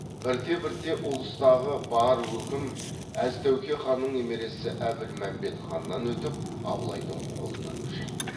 бірте бірте ұлыстағы бар өкім әз тәуке ханның немересі әбілмәмбет ханнан өтіп абылайдың қолына көшеді